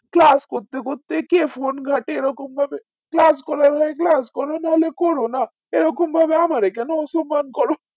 class করতে করতে কে phone ঘটে এই রকম ভাবে class করার হয় class করো নাহলে করো না এই রকম ভাবে আমার এখানে অসস্মান করো